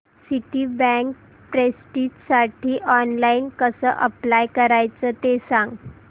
Citibank प्रेस्टिजसाठी online कसं apply करायचं ते सांग